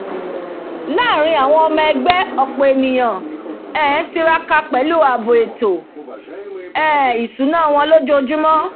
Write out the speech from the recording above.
láàrín àwọn ẹgbẹ́ ọ̀pọ̀ ènìyàn um tiraka pẹ̀lú ààbò ètò um ìsúná wọn lójójúmó